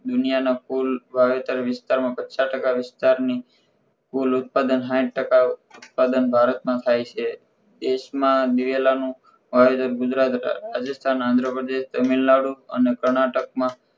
દુનિયા ના કુલ વાવેતર વિસ્તાર માં પચાસ ટકા વિસ્તારની કુલ ઉત્પાદન સાહીઠ ટકા ઉત્પાદન ભારતમાં થાય છે દેશમાં દિવેલા નું વાવેતર ગુજરાત, રાજસ્થાન, આંધ્રપ્રદેશ, તમિલનાડુ અને કર્ણાટકમાં